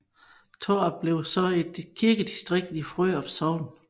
Tårup blev så et kirkedistrikt i Frørup Sogn